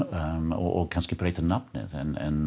og kannski breyta um nafnið en